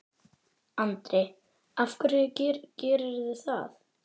Andri: Af hverju gerirðu það?